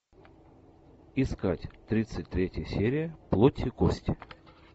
искать тридцать третья серия плоть и кости